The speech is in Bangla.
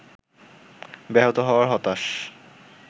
ব্যাহত হওয়ায় হতাশ